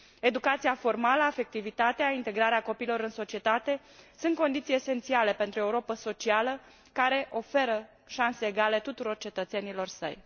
Educația formală, afectivitatea, integrarea copiilor în societate sunt condiții esențiale pentru o Europă socială care oferă șanse egale tuturor cetățenilor săi.